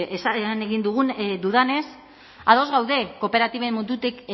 egin dudanez ados gaude kooperatiben mundutik